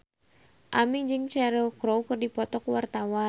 Aming jeung Cheryl Crow keur dipoto ku wartawan